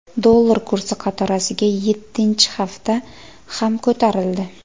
Dollar kursi qatorasiga yettinchi hafta ham ko‘tarildi.